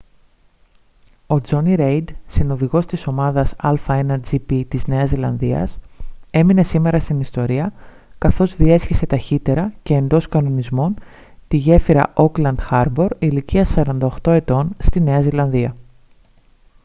ο τζόνι ρέιντ συνοδηγός της ομάδας a1gp της νέας ζηλανδίας έμεινε σήμερα στην ιστορία καθώς διέσχισε ταχύτερα και εντός κανονισμών τη γέφυρα ώκλαντ χάρμπορ ηλικίας 48 ετών στη νέα ζηλανδία